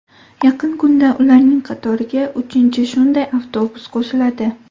Yaqin kunda ularning qatoriga uchinchi shunday avtobus qo‘shiladi.